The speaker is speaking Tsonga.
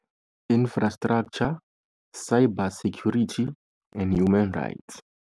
Infrastructure, Cyber security and Human rights.